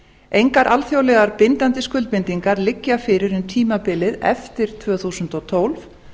engar alþjóðlega bindandi skuldbindingar liggja fyrir um tímabilið eftir tvö þúsund og tólf